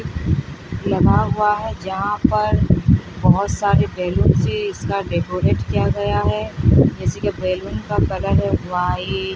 लगा हुआ है जहाँ पर बहोत सारे बेलूनस है इसका डेकोरेट किया गया है जैसे बेलून का कलर वाइट --